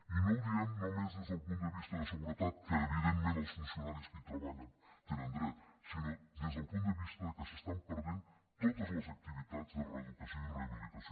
i no ho diem només des del punt de vista de seguretat que evidentment els funcionaris que hi treballen hi tenen dret sinó des del punt de vista que s’estan perdent totes les activitats de reeducació i rehabilitació